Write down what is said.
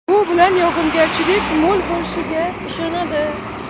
Bu bilan yog‘ingarchilik mo‘l bo‘lishiga ishoniladi.